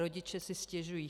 Rodiče si stěžují.